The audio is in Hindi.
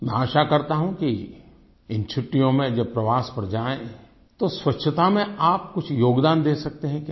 मैं आशा करता हूँ कि इन छुट्टियों में जब प्रवास पर जाएँ तो स्वच्छता में आप कुछ योगदान दे सकते हैं क्या